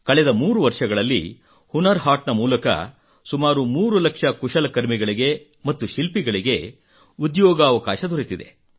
ಕಳೆದ 3 ವರ್ಷಗಳಲ್ಲಿ ಹುನರ್ ಹಾಟ್ ಮೂಲಕ ಸುಮಾರು 3 ಲಕ್ಷ ಕುಶಲಕರ್ಮಿಗಳಿಗೆ ಮತ್ತು ಶಿಲ್ಪಿಗಳಿಗೆ ಉದ್ಯೋಗಾವಕಾಶ ದೊರೆತಿದೆ